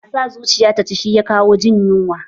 A sa zuciya ta ci, shi ya kawo jin yunwa.